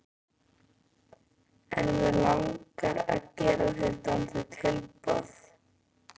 En mig langar að gera þér dálítið tilboð.